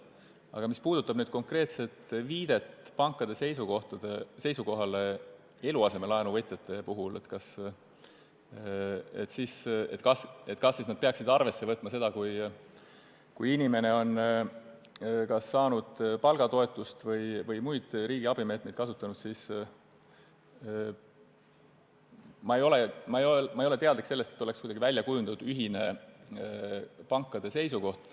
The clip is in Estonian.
Mis aga puudutab konkreetset viidet pankade seisukohale eluasemelaenu võtjate puhul – kas nad peaksid arvesse võtma seda, et inimene on saanud palgatoetust või kasutanud muid riigiabimeetmeid –, siis ma ei tea, et pangad oleksid välja kujundanud ühise seisukoha.